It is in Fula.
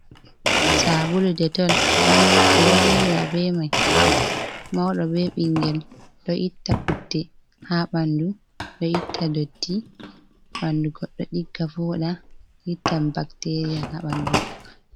Sabulu detol, ɓe ɗo yiwira be mai, mauɗo be bingel, ɗo itta putte haa ɓandu, ɗo itta dotti ɓandu godɗo ɗigga vooɗa, ittan bakteriya haa ɓandu.